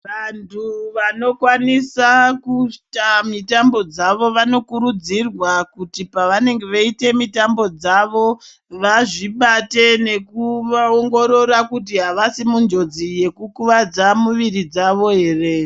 Vantu vanokwanisa kuita mitambo dzavo vanokurudzirwa kuti pavanenge veiite mitambo dzavo vazvibate nekuongorora kuti havasi munjodzi yekukuvadza muviri dzavo here.